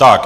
Tak.